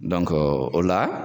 o la